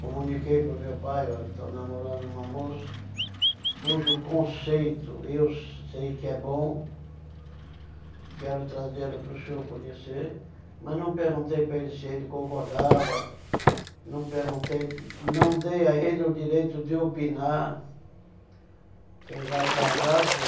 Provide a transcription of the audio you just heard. Comuniquei para o meu pai, olha, estou namorando uma moça cujo conceito eu sei que é bom, quero trazê-la para o senhor conhecer, mas não perguntei para ele se ele concordava, não perguntei, não dei a ele o direito de opinar, quem vai casar sou